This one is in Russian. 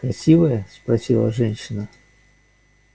красивая спросила женщина